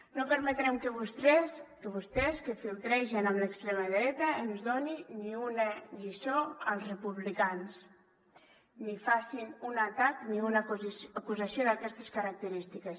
no permetrem que vostès que flirtegen amb l’extrema dreta ens donin ni una lliçó als republicans ni facin un atac ni una acusació d’aquestes característiques